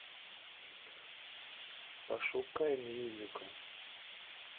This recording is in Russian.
пошукай мюзикл